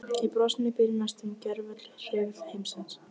Í brosinu býr næstum gervöll hryggð heimsins.